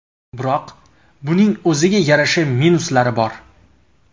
Biroq, buning o‘ziga yarasha minuslari bor.